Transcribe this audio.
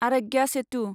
आरग्या सेटु